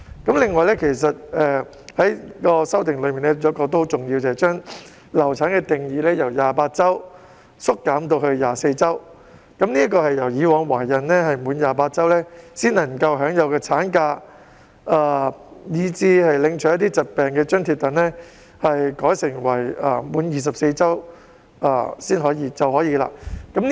此外，其中有一項很重要的修訂，就是把"流產"定義由28周縮減至24周，即是以往懷孕滿28周才可以享有產假及領取疾病津貼，現時改為滿24周便可以領取。